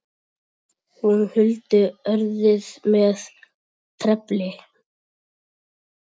Hún huldi örið með trefli.